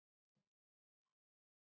Þetta varð strax betra.